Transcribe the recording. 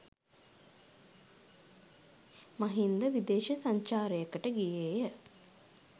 මහින්ද විදේශ සංචාරයකට ගියේය.